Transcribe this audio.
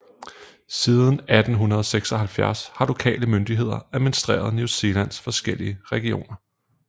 Siden 1876 har lokale myndigheder administreret New Zealands forskellige regioner